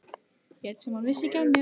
Lét sem hún vissi ekki af mér.